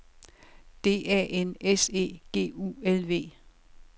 D A N S E G U L V